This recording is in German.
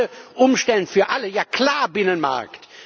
Wir sagen alle umstellen für alle, ja klar, Binnenmarkt.